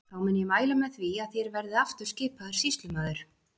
Þá mun ég mæla með því að þér verðið aftur skipaður sýslumaður.